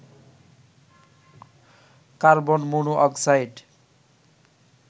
carbon mono oxide